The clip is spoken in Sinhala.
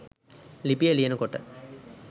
ලිපිය ලියනකොට.